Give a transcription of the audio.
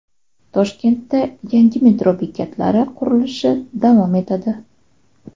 Toshkentda yangi metro bekatlari qurilishi davom etadi.